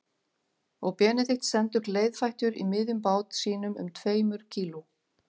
Og Benedikt stendur gleiðfættur í miðjum bát sínum um tveimur kíló